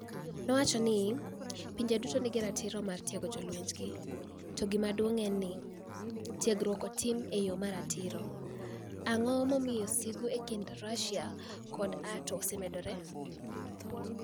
nowacho nii "pinije duto niigi ratiro mar tiego jolweniygi, to gimaduonig ' eni ni eno nii tiegruokno itimo e yo ma ratiro. ' Anig'o momiyo sigu e kinid Russia kod niATO osemedore?